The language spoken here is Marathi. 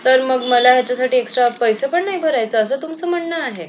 तर मग मला यांच्यासाठी extra पैसे पण भरायची नाही असं तुमच मन आहे